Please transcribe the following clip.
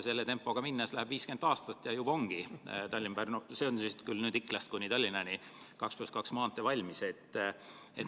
Sellise tempoga minnes läheb 50 aastat ja juba ongi Tallinna–Pärnu 2 + 2 maantee, täpsemalt Ikla–Tallinna lõik, valmis.